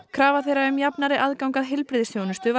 krafa þeirra um jafnari aðgang að heilbrigðisþjónustu